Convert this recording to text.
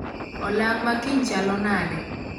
Olang' makiny chalo nade